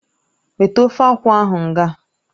Weta ofe akwụ ahụ ngaa!